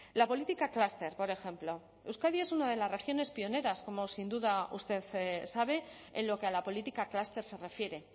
la política clúster por ejemplo euskadi es una de las regiones pioneras como sin duda usted sabe en lo que a la política clúster se refiere